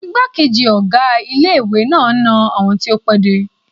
Igbákejì ọ̀gá ilé-ìwé náà n na àwọn tó pẹ́ dé